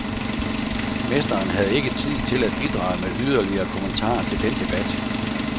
Mesteren havde ikke tid til at bidrage med yderligere kommentarer til den debat.